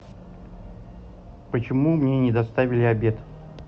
почему мне не доставили обед